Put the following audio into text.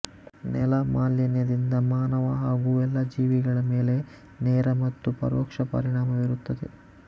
ನೆಲ ಮಾಲಿನ್ಯದಿಂದ ಮಾನವ ಹಾಗೂ ಎಲ್ಲಾ ಜೀವಿಗಳ ಮೇಲೆ ನೇರ ಮತ್ತು ಪರೋಕ್ಷ ಪರಿಣಾಮ ಬೀರುತ್ತದೆ